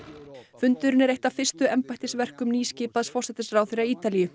fundurinn er eitt af fyrstu embættisverkum nýskipaðs forsætisráðherra Ítalíu